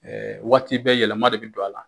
Ɛ waati bɛɛ yɛlɛma de b'i don a la.